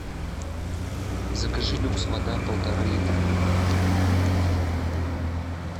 закажи люкс вода полтора литра